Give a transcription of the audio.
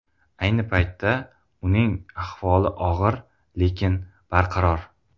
Ayni paytda uning ahvoli og‘ir, lekin barqaror.